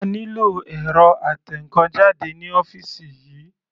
A nílò ẹ̀rọ atẹnkan jáde ní ọ́fìsì yìí.